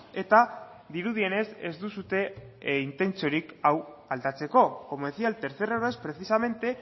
eta dirudienez ez duzue intentziorik hau aldatzeko como decía el tercer es precisamente